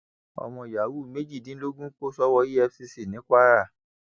ọmọ yahoo méjìdínlógún kò sọwọ efcc ní kwara